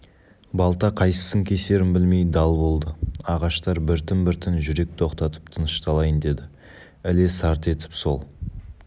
балта қайсысын кесерін білмей дал болды ағаштар біртін-біртін жүрек тоқтатып тынышталайын деді іле сарт етіп сол